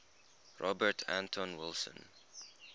robert anton wilson